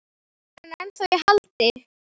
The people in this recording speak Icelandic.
Er hann ennþá í haldi?